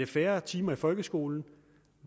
færre timer i folkeskolen